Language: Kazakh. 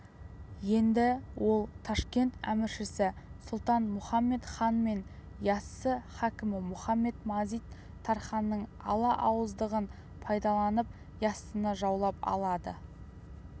енді ол ташкент әміршісі сұлтан-мұхамед хан мен яссы хакімі мұхамед-мазит-тарханның ала ауыздығын пайдаланып яссыны жаулап алады